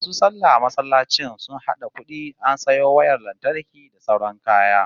MAsu sallah a masallacin sun hada kudi an sayo wayar lantarki da sauran kaya